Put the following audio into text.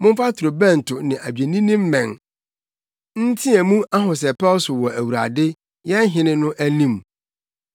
momfa torobɛnto ne adwennini mmɛn, nteɛ mu ahosɛpɛw so wɔ Awurade, yɛn hene no anim.